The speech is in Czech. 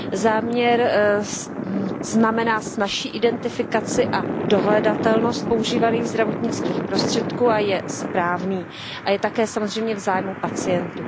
Záměr znamená snazší identifikaci a dohledatelnost používaných zdravotnických prostředků a je správný a je také samozřejmě v zájmu pacientů.